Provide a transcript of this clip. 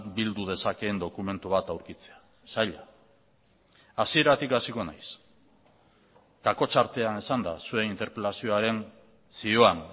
bildu dezakeen dokumentu bat aurkitzea zaila hasieratik hasiko naiz kakotxa artean esanda zuen interpelazioaren zioan